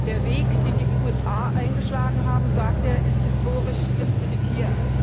Der Weg, den die USA eingeschlagen haben, sagt er, ist historisch diskreditiert.